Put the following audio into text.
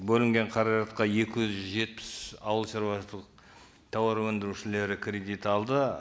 бөлінген қаражатқа екі жүз жетпіс ауыл шаруашылық тауар өндірушілері кредит алды